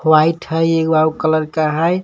White हई एगो आउर कलर का हई।